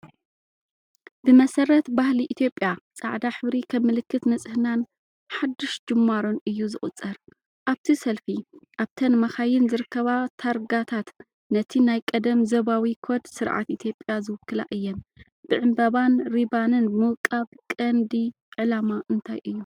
ብመሰረት ባህሊ ኢትዮጵያ፡ ጻዕዳ ሕብሪ ከም ምልክት ንጽህናን ሓድሽ ጅማሮን እዩ ዝቑጸር። ኣብቲ ሰልፊ ኣብተን መካይን ዝርከባ ታርጋታት ነቲ ናይ ቀደም ዞባዊ ኮድ ስርዓት ኢትዮጵያ ዝውክላ እየን። ብዕምባባን ሪባንን ምውቃብ ቀንዲ ዕላማ እንታይ እዩ?